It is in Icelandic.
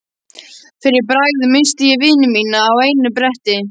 Fyrir bragðið missti ég vini mína á einu bretti.